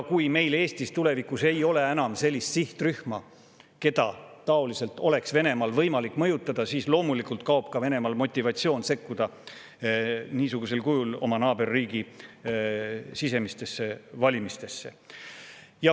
Kui meil Eestis tulevikus ei ole enam sellist sihtrühma, keda Venemaal oleks võimalik taoliselt mõjutada, siis loomulikult kaob ka Venemaa motivatsioon sekkuda niisugusel kujul oma naaberriigi sisemistesse valimistesse.